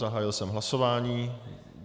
Zahájil jsem hlasování.